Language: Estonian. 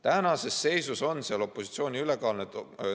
Tänases seisus on seal opositsiooni ülekaal.